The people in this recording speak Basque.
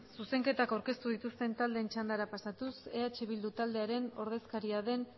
zuzenketak aurkeztu dituzten taldeen txandara pasatuz eh bildu taldearen ordezkaria den